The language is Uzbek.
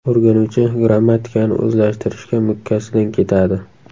O‘rganuvchi grammatikani o‘zlashtirishga mukkasidan ketadi.